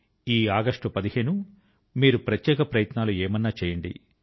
ఈ ఆగస్టు 15 మీరు ప్రత్యేక ప్రయత్నాలు ఏమైనా చేయండి